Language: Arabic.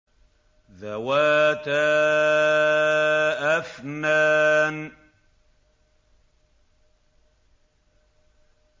ذَوَاتَا أَفْنَانٍ